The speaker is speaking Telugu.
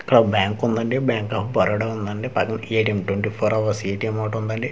ఇక్కడ బ్యాంక్ ఉందండి బ్యాంక్ ఆఫ్ బరోడా ఉందండి పదొక ఏ_టి_ఏం ఓటుందండి .]